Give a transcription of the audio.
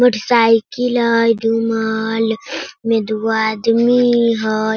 Motor cycle हेय double में दु गो आदमी हेय।